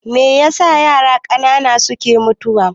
Meyasa yara ƙanana suke mutuwa?